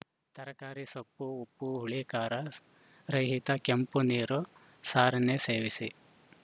ತರಕಾರಿ ಸೊಪ್ಪು ಉಪ್ಪುಹುಳಿಖಾರ ರಹಿತ ಕೆಂಪು ನೀರು ಸಾರನ್ನೇ ಸೇವಿಸಿ